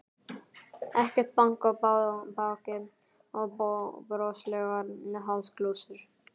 Ekkert bank á bakið og broslegar háðsglósur.